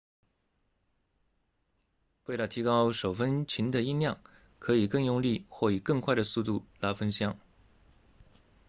为了提高手风琴的音量可以更用力或以更快的速度拉风箱